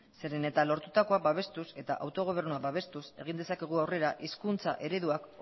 zeren eta lortutako babestuz eta autogobernua babestuz egin dezakegu aurrera hizkuntza ereduak